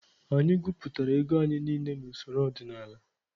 Anyị gụpụtara ego anyị niile na usoro ọdịnala.